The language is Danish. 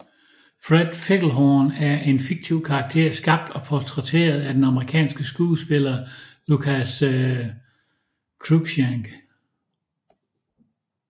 Fred Figglehorn er en fiktiv karakter skabt og portrætteret af den amerikanske skuespiller Lucas Cruikshank